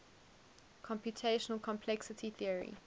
computational complexity theory